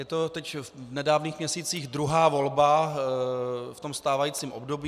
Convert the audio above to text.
Je to teď v nedávných měsících druhá volba v tom stávajícím období.